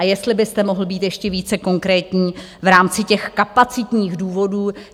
A jestli byste mohl být ještě více konkrétní v rámci těch kapacitních důvodů.